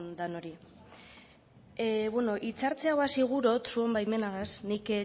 denoi bueno hitzartze hau hasi gura dut zure baimenagaz nik